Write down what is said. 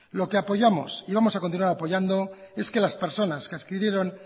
lo que apoyamos y vamos a continuar apoyando es que las personas que adquirieron